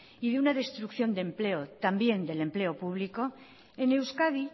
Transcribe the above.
y de una destrucción de empleo también del empleo público en euskadi